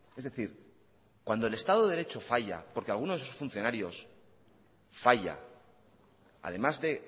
es decir cuando el estado de derecho falla porque alguno de sus funcionarios falla además de